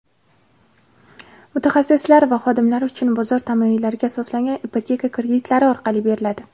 mutaxassislari va xodimlari uchun bozor tamoyillariga asoslangan ipoteka kreditlari orqali beriladi.